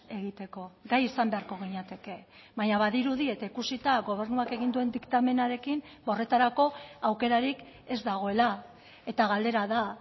egiteko gai izan beharko ginateke baina badirudi eta ikusita gobernuak egin duen diktamenarekin horretarako aukerarik ez dagoela eta galdera da